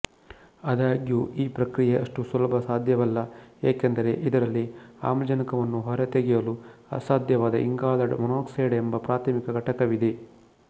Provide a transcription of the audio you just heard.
ಆದಾಗ್ಯೂ ಈ ಪ್ರಕ್ರಿಯೆ ಅಷ್ಟು ಸುಲಭ ಸಾಧ್ಯವಲ್ಲಏಕೆಂದರೆ ಇದರಲ್ಲಿ ಆಮ್ಲಜನಕವನ್ನು ಹೊರತೆಗೆಯಲು ಅಸಾಧ್ಯವಾದ ಇಂಗಾಲದ ಮಾನಾಕ್ಸೈಡ್ ಎಂಬ ಪ್ರಾಥಮಿಕ ಘಟಕವಿದೆ